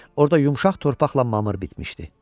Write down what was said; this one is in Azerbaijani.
Orda yumşaq torpaqla mamır bitmişdi.